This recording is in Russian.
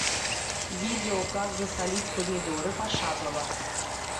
видео как засолить помидоры пошагово